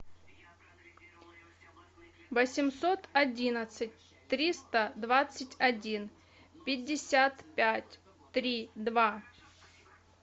восемьсот одиннадцать триста двадцать один пятьдесят пять три два